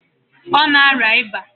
Ọ na arịa ịba.